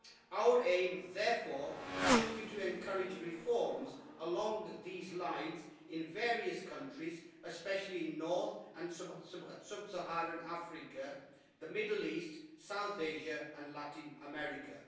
Our aim, therefore, should be to encourage reforms along these lines in various countries, especially in North and Sub-Saharan Africa, the Middle East, South Asia and Latin America.